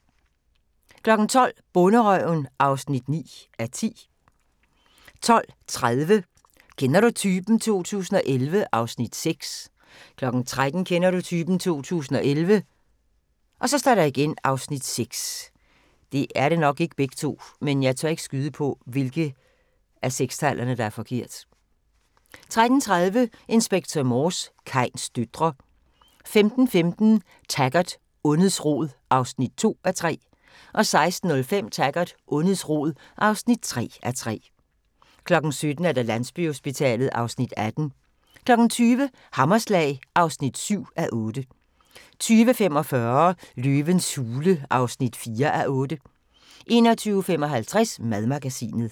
12:00: Bonderøven (9:10) 12:30: Kender du typen? 2011 (Afs. 6) 13:00: Kender du typen? 2011 (Afs. 6) 13:30: Inspector Morse: Kains døtre 15:15: Taggart: Ondets rod (2:3) 16:05: Taggart: Ondets rod (3:3) 17:00: Landsbyhospitalet (Afs. 18) 20:00: Hammerslag (7:8) 20:45: Løvens hule (4:8) 21:55: Madmagasinet